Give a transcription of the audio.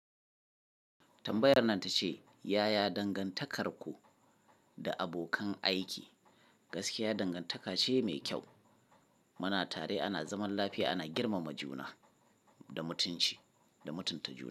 Tambayar nan ta ce, yaya dangantakarku da abokan aiki? Gaskiya dangantaka ce mai kyau. Muna tare ana zaman lafiya, ana girmama juna da mutunci da mutunta juna.